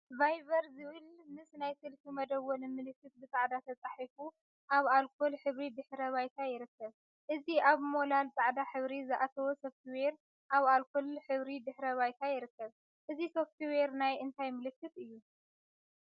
ቫይበር ዝብል ምሰ ናይ ስልኪ መደወሊ ምልክት ብፃዕዳ ተፃሒፉ አብ አልኮል ሕብሪ ድሕረ ባይታ ይርከብ፡፡ እዚ አብ ሞላል ፃዕዳ ሕብሪ ዝአተወ ሶፍትዌር አብ አልኮል ሕብሪ ድሕረ ባይታ ይርከብ፡፡ እዚ ሶፍትዌር ናይ እንታይ ምልክት እዩ?